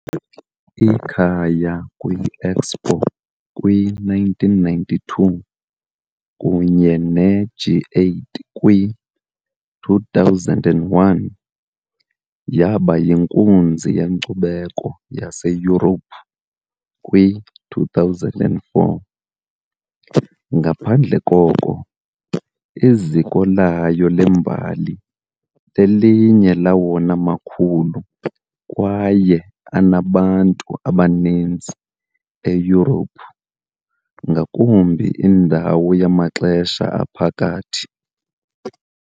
Ikhaya kwi- Expo kwi-1992 kunye ne- G8 kwi-2001, yaba yinkunzi yenkcubeko yaseYurophu kwi-2004. Ngapha koko, iziko layo lembali lelinye lawona makhulu kwaye anabantu abaninzi eYurophu, ngakumbi indawo yamaxesha aphakathi.